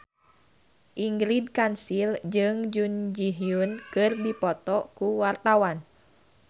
Ingrid Kansil jeung Jun Ji Hyun keur dipoto ku wartawan